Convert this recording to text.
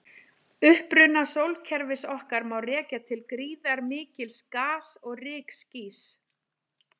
Uppruna sólkerfis okkar má rekja til gríðarmikils gas- og rykskýs.